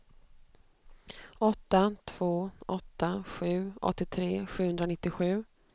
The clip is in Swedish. åtta två åtta sju åttiotre sjuhundranittiosju